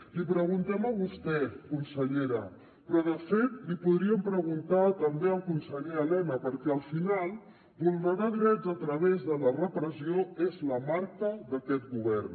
li preguntem a vostè consellera però de fet li podríem preguntar també al conseller elena perquè al final vulnerar drets a través de la repressió és la marca d’aquest govern